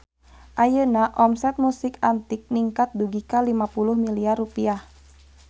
Ayeuna omset Musik Antik ningkat dugi ka 50 miliar rupiah